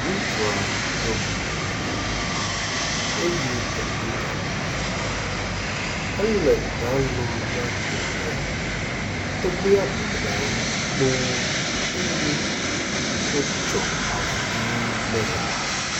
Ŋutsua ɖɔ kuku eye edo gaŋkui. Ele ta lum na tɔgbia. Tɔgbia bɔbɔnɔ anyi kpo eye wotsɔ avɔ ʋi nɛ.